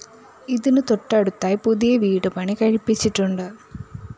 ഇതിന് തൊട്ടടുത്തായി പുതിയ വീട് പണികഴിപ്പിച്ചിട്ടുണ്ട്